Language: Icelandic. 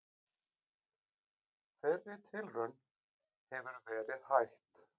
Þeirri tilraun hefur verið hætt.